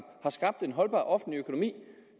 har skabt en holdbar offentlig økonomi